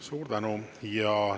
Suur tänu!